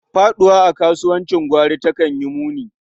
Faɗuwa a kasuwancin gwari takan yi muni.